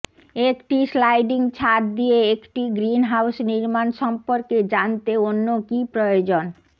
একটি স্লাইডিং ছাদ দিয়ে একটি গ্রিনহাউস নির্মাণ সম্পর্কে জানতে অন্য কি প্রয়োজন